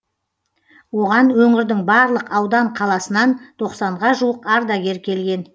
оған өңірдің барлық аудан қаласынан тоқсанға жуық ардагер келген